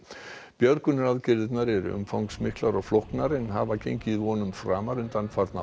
björgunaraðgerðirnar eru umfangsmiklar og flóknar en hafa gengið vonum framar undanfarna